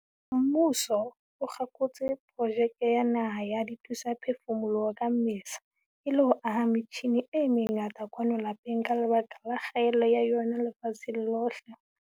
Mmuso o kgakotse Projeke ya Naha ya Dithusaphefumoloho ka Mmesa, e le ho aha metjhine e mengata kwano lapeng ka lebaka la kgaello ya yona lefatsheng lohle.